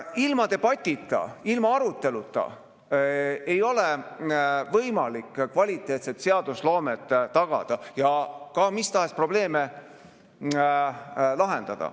Ilma debatita, ilma aruteluta ei ole võimalik kvaliteetset seadusloomet tagada ja ka mis tahes probleeme lahendada.